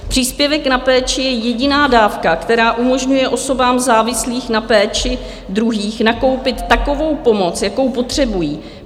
Příspěvek na péči je jediná dávka, která umožňuje osobám závislým na péči druhých nakoupit takovou pomoc, jakou potřebují.